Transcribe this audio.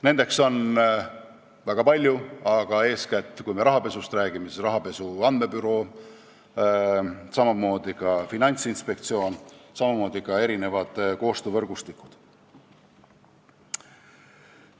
Neid on väga palju, aga kui me rahapesust räägime, siis eeskätt on need rahapesu andmebüroo, samamoodi Finantsinspektsioon, ka erinevad koostöövõrgustikud.